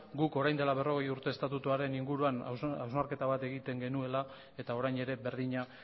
guk orain dela berrogei urte estatutuaren inguruan hausnarketa bat egiten genuela eta orain ere berdina